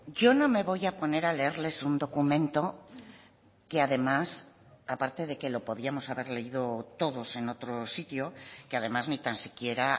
yo no me voy a poner a leerles un documento que además aparte de que lo podíamos haber leído todos en otro sitio que además ni tan siquiera